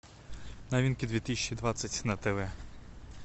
новинки две тысячи двадцать на тв